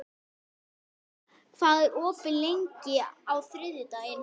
Í snitsel má nota lambakjöt, svínakjöt og nautakjöt.